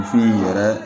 Misi yɛrɛ